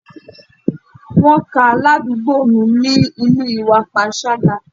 Wọ́n ká aládùúgbò mi nínú ìwà panṣágà.